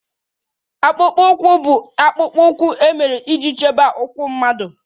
Akpụkpọ ụkwụ bụ akpụkpọ ụkwụ e mere iji chebe ụkwụ mmadụ